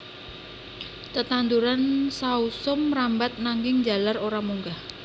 Tetanduran sausum mrambat nanging njalar ora munggah